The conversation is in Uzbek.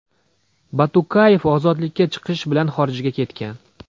Batukayev ozodlikka chiqish bilan xorijga ketgan.